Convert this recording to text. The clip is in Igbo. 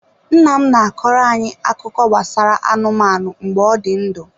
Nna m na-akọrọ anyị akụkọ gbasara anụmanụ mgbe ọ dị ndụ.